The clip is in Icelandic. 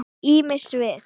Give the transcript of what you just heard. Ýmis svið.